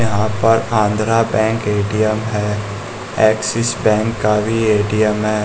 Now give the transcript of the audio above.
यहां पर Andhra Bank ATM है एक्सिस बैंक का भी ए_टी_एम है।